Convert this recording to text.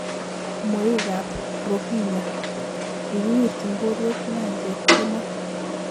Mweikab Rohingya:kikiwirjin borwek nyanjet kemoi.